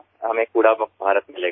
આપણને કચરામુક્ત ભારત મળશે